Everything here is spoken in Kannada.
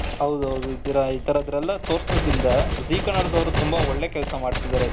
ಹೌದು ಹೌದು ಇತರದ್ನೆಲ್ಲ ತೋರಿಸೋದ್ರಿಂದ ಝೀ ಕನ್ನಡದವರು ತುಂಬಾ ಒಳ್ಳೆ ಕೆಲಸ ಮಾಡ್ತಾ ಇದ್ದಾರೆ.